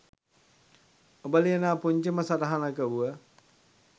ඔබ ලියනා පුංචිම සටහනක වුව